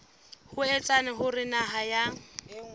ho etsa hore naha ya